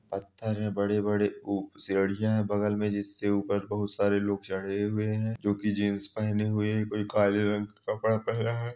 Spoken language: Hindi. पत्थर हैं बड़े-बड़े उ सीढ़ियां है बगल में जिससे ऊपर बहुत सारे लोग चढ़े हुए हैं जो की जींस पहने हुए है। कोई काले रंग का कपड़ा पहना है।